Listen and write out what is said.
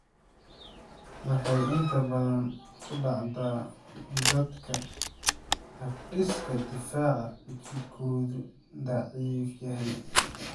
Waxay inta badan ku dhacdaa dadka habdhiska difaaca jidhkoodu daciif yahay.